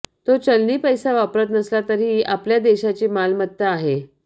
तो चलनी पैसा वापरात नसला तरीही आपल्या देशाची मालमत्ता आहे